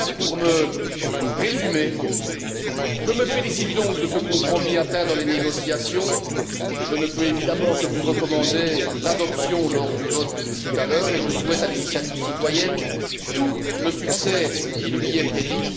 Enfin, pour me résumer, je me félicite du compromis atteint dans les négociations et je ne peux évidemment que vous recommander l'adoption lors du vote de tout à l'heure et je souhaite à l'initiative citoyenne tout le succès qui lui est prédit.